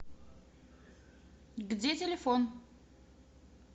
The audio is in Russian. где телефон